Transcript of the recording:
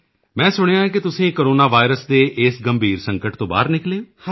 ਮੈਂ ਸੁਣਿਆ ਹੈ ਕਿ ਤੁਸੀਂ ਕੋਰੋਨਾ ਵਾਇਰਸ ਦੇ ਇਸ ਗੰਭੀਰ ਸੰਕਟ ਤੋਂ ਬਾਹਰ ਨਿਕਲੇ ਹੋ